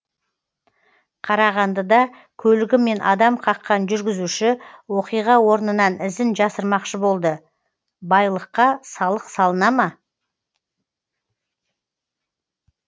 қарағандыда көлігімен адам қаққан жүргізуші оқиға орнынан ізін жасырмақшы болды байлыққа салық салына ма